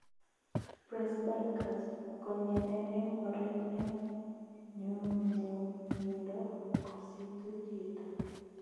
Presbycusis konyenee eng oret eng nyumnyumindo koositu chitoo